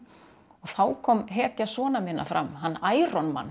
og þá kom hetja sona minna fram hann